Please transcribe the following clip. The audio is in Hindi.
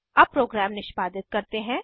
अब प्रोग्राम निष्पादित करते हैं